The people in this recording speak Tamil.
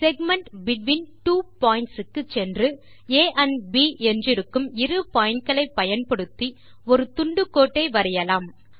செக்மென்ட் பெட்வீன் ட்வோ பாயிண்ட்ஸ் க்கு சென்று ஆ என்றிருக்கும் இரு பாயிண்ட்ஸ் ஐ பயன்படுத்தி ஒரு துண்டு கோட்டை வரையலாம்